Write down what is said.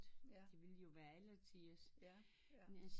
Det ville jo være alletiders